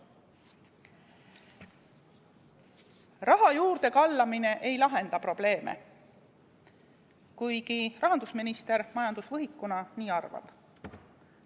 Raha juurde kallamine ei lahenda probleeme, kuigi rahandusminister majandusvõhikuna nii arvab.